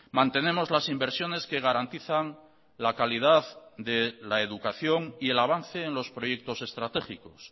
mantenemos las inversiones que garantizan la calidad de la educación y el avance en los proyectos estratégicos